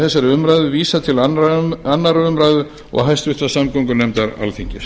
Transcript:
þessari umræðu vísað til annarrar umræðu og háttvirtrar samgöngunefndar alþingis